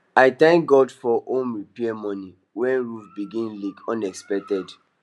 i thank god for home repair money when roof begin leak unexpected